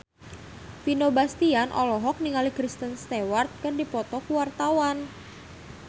Vino Bastian olohok ningali Kristen Stewart keur diwawancara